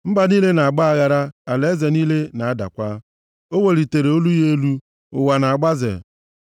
Mba niile na-agba aghara, alaeze niile na-adakwa; o welitere olu ya elu, ụwa na-agbaze.